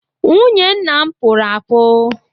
Nwunye nna m pụrụ apu.